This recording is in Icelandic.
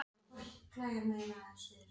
En gerir kerfið ráð fyrir verstu tilfellunum?